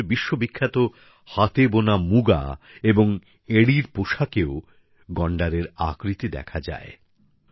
অসমের বিশ্ব বিখ্যাত হাতে বোনা মুগা এবং এন্ডির পোশাকেও গন্ডারের আকৃতি দেখা যায়